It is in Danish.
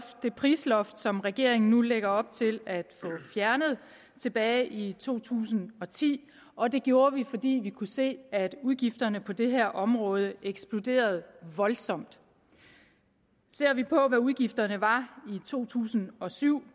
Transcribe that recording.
det prisloft som regeringen lægger op til at fjerne tilbage i to tusind og ti og det gjorde vi fordi vi kunne se at udgifterne på det her område eksploderede voldsomt ser vi på hvad udgifterne var i to tusind og syv